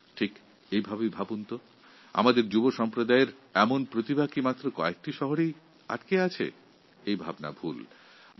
আমাদের শহরের যুববন্ধুদেরই যে কেবল মেধাসম্পদ রয়েছে এই ধারণাটা ভুল